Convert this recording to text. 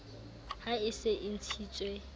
ha e se e ntshitswe